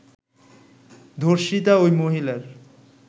ধর্ষিতা ওই মহিলার